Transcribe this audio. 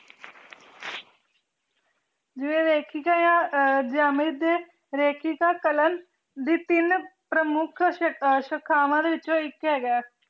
ਜਿਵੇਂ ਰੇਖਿਕਾ ਕਲਾਂ ਦੀ ਤੀਨ ਪ੍ਰਮੁਖ ਸ਼ਿਖਾਵਾਂ ਡੀ ਵਿਚੋ ਏਇਕ ਹੇਗਾ ਆਯ